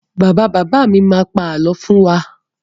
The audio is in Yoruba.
Bàbá bàbá mi má pa àlọ́ fún wa.